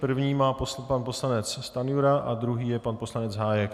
První má pan poslanec Stanjura a druhý je pan poslanec Hájek.